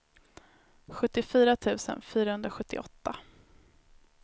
sjuttiofyra tusen fyrahundrasjuttioåtta